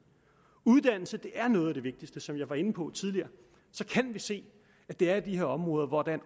uddannelse er noget af det vigtigste som jeg var inde på tidligere kan vi se at det er i de her områder hvor der er